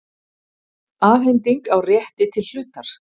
Afhending á rétti til hlutar.